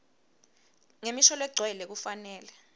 ngemisho legcwele kufanele